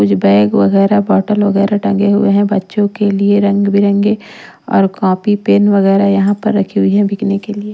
कुछ बैग वगैरह बोतल वगैरह टंगे हुए हैं बच्चों के लिए रंग बिरंगे और कॉपी पेन वगैरह यहाँ पर रखी हुई हैं बिकने के लिए।